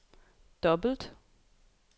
dobbelt